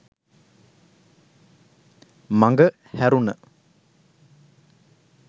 මඟ හැරුණ.